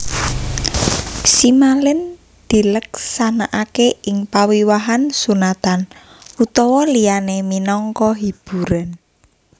Simalin dileksanakaké ing pawiwahan sunatan utawa liyané minangka hiburan